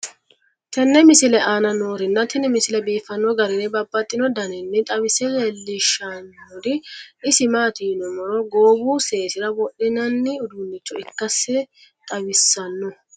tenne misile aana noorina tini misile biiffanno garinni babaxxinno daniinni xawisse leelishanori isi maati yinummoro goowu seesira wodhinnanni uddunicho ikkassi xawissanno